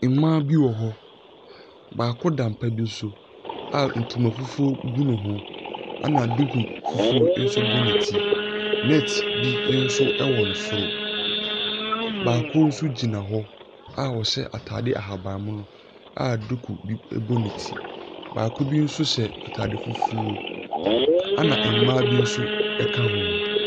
Mmaa bi wɔ hɔ. Baako da pa bi so a ntoma fufuo gu ne ho, ɛna duku fufuo nso bɔ ne ti. Net bi nso wɔ ne soro. Baako nso gyina hɔ a ɔhya atadeɛ ahabammono a duku bi bɔ ne ti. Baako bi nso hyɛ atade fufuo, ɛna mmaa bi nso ka ho.